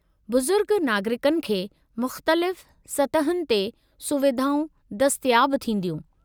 बुज़ुर्ग नागरिकनि खे मुख़्तलिफ़ु सतहुनि ते सुविधाऊं दस्तियाबु थींदियूं।